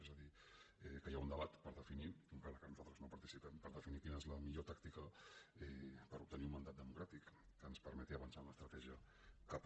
és a dir que hi ha un debat per definir encara que nosaltres no hi participem quina és la millor tàctica per obtenir un mandat democràtic que ens permeti avançar en l’estratègia cap a